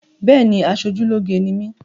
Béèni, aṣojúlóge ni mí